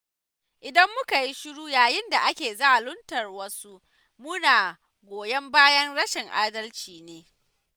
Idan muka yi shuru yayin da ake zaluntar wasu muna goyon bayan rashin adalci ne.